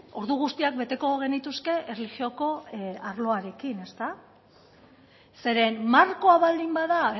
ordu guztiak beteko genituzke erlijioko arloarekin zeren markoa baldin bada